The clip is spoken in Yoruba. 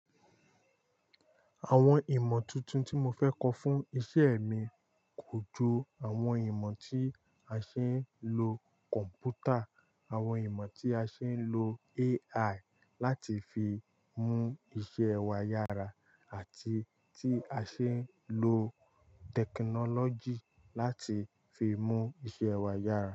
Àwọn ìmọ̀ tuntun tí mo fẹ́ kọ́ fún iṣẹ́ mi kò ju àwọn ìmọ̀ tí a ṣe ń lo kọ̀m̀pútà, àwọn ìmọ̀ tí a ṣe ń lo AI láti fi mú iṣẹ́ wa yára àti tí a ṣe ń lo tẹkinọ́lọ́jì láti fi mú iṣẹ́ wa yára.